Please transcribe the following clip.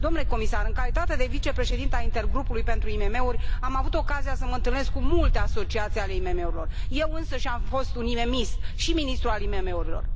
Domnule comisar, în calitatea de vicepreședintă a intergrupului pentru IMM uri, am avut ocazia să mă întâlnesc cu multe asociații ale IMM urilor, eu însămi am fost un IMM ist și ministru al IMM urilor.